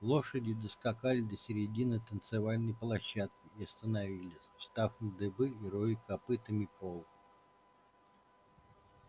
лошади доскакали до середины танцевальной площадки и остановились встав на дыбы и роя копытами пол